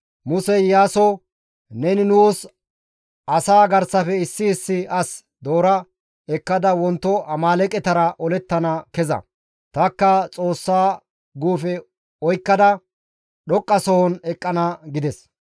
Musey Iyaaso, «Neni nuus asaa garsafe issi issi as doora ekkada wonto Amaaleeqetara olettana keza; tanikka Xoossa guufe oykkada dhoqqasohon eqqana» gides.